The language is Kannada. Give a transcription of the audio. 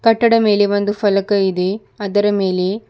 ಕಟ್ಟಡ ಮೇಲೆ ಒಂದು ಫಲಕ ಇದೆ ಅದರ ಮೇಲೆ--